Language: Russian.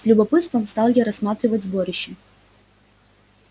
с любопытством стал я рассматривать сборище